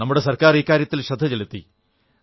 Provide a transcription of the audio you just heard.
നമ്മുടെ സർക്കാർ ഇക്കാര്യത്തിൽ ശ്രദ്ധ ചെലുത്തി